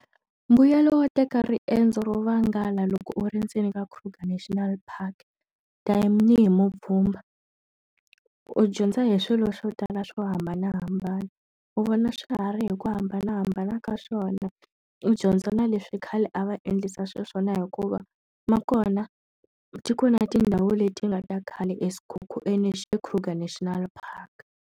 Mbuyelo wo teka riendzo ro vangala loko u ri ndzeni ka Kruger National Park tanihi mupfhumba, u dyondza hi swilo swo tala swo hambanahambana. U vona swihari hi ku hambanahambana ka swona, u dyondza na leswi khale a va endlisa xiswona hikuva, ma kona ti kona tindhawu leti nga ta khale eKruger National Park.